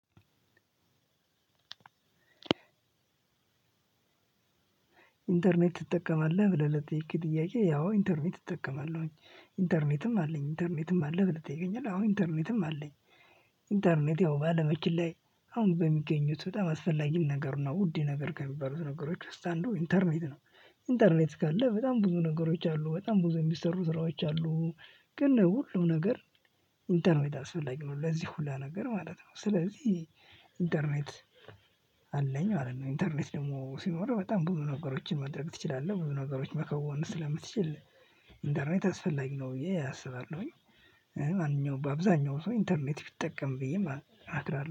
ኢንተርኔት ትጠቀማለህ ብለህ ለጥይቅ ጥያቄ ያው ኢንተርኔት እጠቀማለሁኝ ኢንተርኔትም አለኝ ኢንተርኔትም አለኝ ብለህ ትጠይቀኛለህ አዎ ኢንተርኔትም አለኝ ኢንተርኔት ያው ባለማችን ላይ አሁን በሚገኙት በጣም አስፈላጊም ነገር ነው ውድ ነገር ከሚባሉት ነገሮች ውስጥ አንዱ ኢንተርኔት ነው ኢንተርኔት ካለ በጣም ብዙ ነገሮች አሉ። በጣም ብዙ የሚሰሩ ስራኦች አሉ፣ ግን ሁሉም ነገር ኢነርኔት አስፈላጊ ነው። ለዚህ ሁላ ነገር ማለት ነው። ስለዚህ ኢንተርኔት አለኝ ማለት ነው። ኢንተርኔት ደግሞ ሲኖር በጣም ብዙ ነገሮችን ማድረክ ትችላለህ ብዙ ነገሮች መከወን ስለምትችል ኢንተርኔት አስፈላጊ ነው ብዬ አስባለሁኝ። አብዛኛው ሰው ኢንተርኔት ቢጠቀም ብዬ እመክራለው።